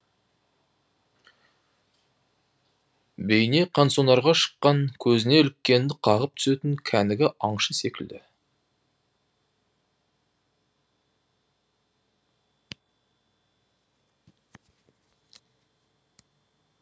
бейне қансонарға шыққан көзіне іліккенді қағып түсетін кәнігі аңшы секілді